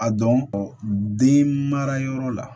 A dɔn mara yɔrɔ la